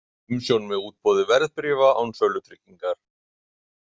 Umsjón með útboði verðbréfa án sölutryggingar.